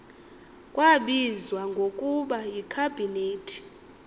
kwabizwa ngokuba yikhabhinethi